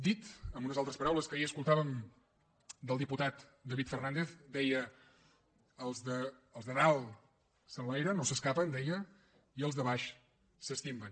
dit amb unes altres paraules que ahir escoltàvem del diputat david fernàndez deia els de dalt s’enlairen o s’escapen deia i els de baix s’estimben